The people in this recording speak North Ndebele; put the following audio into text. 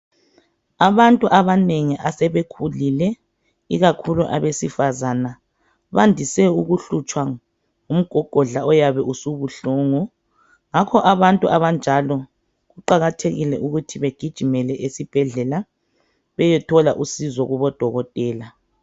Abantu abanengi asebekhulile ikakhulu abesifazana bandise ukuhlutshwa ngumgogodla oyabe usubuhlungu ngakho abantu abanjalo kuqakathekile ukuthi begijimele esibhedlela beyethola usizo kubodokotela.